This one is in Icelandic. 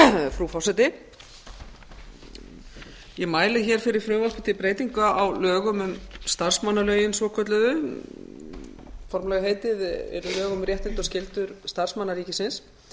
frú forseti ég mæli hér fyrir frumvarpi til breytinga á lögum um starfsmannalögin svokölluðu formlega heitið eru lög um réttindi og skyldur starfsmanna ríkisins